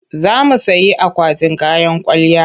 Za mu sayi akwatin kayan kwalliya.